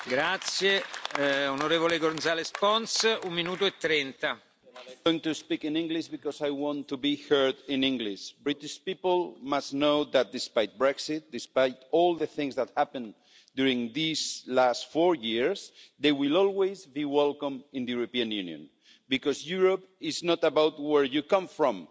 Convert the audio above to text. Mr President, I want to speak in English because I want to be heard in English. British people must know that despite Brexit, despite all the things that happened during these last four years, they will always be welcome in the European Union because Europe is not about where you come from